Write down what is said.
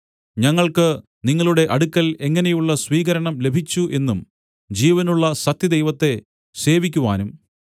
ഞങ്ങൾക്കു നിങ്ങളുടെ അടുക്കൽ എങ്ങനെയുള്ള സ്വീകരണം ലഭിച്ചു എന്നും ജീവനുള്ള സത്യദൈവത്തെ സേവിക്കുവാനും